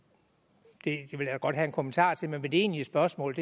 godt have en kommentar til men mit egentlige spørgsmål